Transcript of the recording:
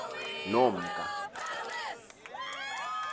nomka